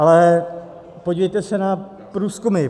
Ale podívejte se na průzkumy.